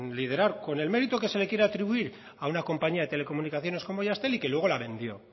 liderar con el mérito que se le quiera atribuir a una compañía de telecomunicaciones como jazztel y que luego la vendió